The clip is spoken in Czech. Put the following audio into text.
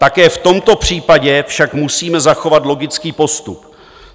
Také v tomto případě však musíme zachovat logický postup.